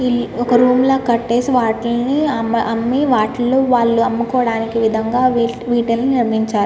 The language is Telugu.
ఒక రూమ్ ల కట్టేసి వాటిల్ని అమ్మి వాటిల్లో వాళ్ళు అమ్ముకోడానికి విధంగా వీటిని నిర్మించారు.